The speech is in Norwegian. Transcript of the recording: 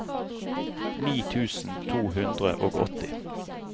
ni tusen to hundre og åtti